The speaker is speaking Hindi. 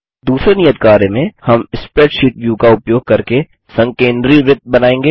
दूसरे नियत कार्य में हम स्प्रैडशीट व्यू का उपयोग करके संकेन्द्री वृत्त बनायेंगे